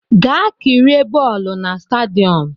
Gaa kirie bọọlụ na stadiọm!